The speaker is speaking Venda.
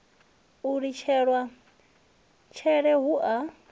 u lidzelwa tshele hu a